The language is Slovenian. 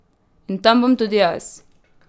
In tam bom tudi jaz!